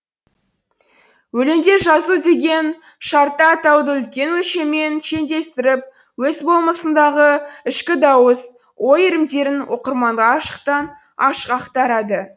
өлеңде жазу деген шартты атауды үлкен өлшеммен шендестіріп өз болмысындағы ішкі дауыс ой иірімдерін оқырманға ашықтан ашық ақтарады